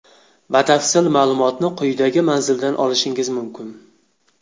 Batafsil ma’lumotni quyidagi manzildan olishingiz mumkin.